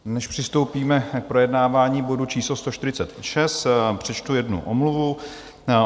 Než přistoupíme k projednávání bodu číslo 146, přečtu jednu omluvu.